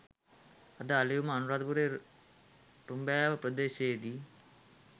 අද අලුයම අනුරාධපුර රඹෑව ප්‍රදේශයේදී